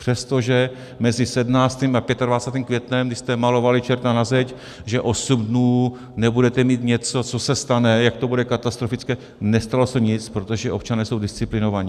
Přestože mezi 17. a 25. květnem, kdy jste malovali čerta na zeď, že osm dnů nebudete mít něco, co se stane, jak to bude katastrofické, nestalo se nic, protože občané jsou disciplinovaní.